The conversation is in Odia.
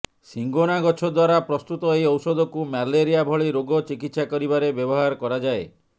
ସିଙ୍କୋନା ଗଛ ଦ୍ୱାରା ପ୍ରସ୍ତୁତ ଏହି ଔଷଧକୁ ମ୍ୟାଲେରିଆ ଭଳି ରୋଗ ଚିକିତ୍ସା କରିବାରେ ବ୍ୟବହାର କରାଯାଏ